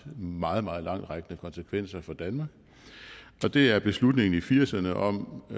meget meget langtrækkende konsekvenser for danmark og det er beslutningen i nitten firserne om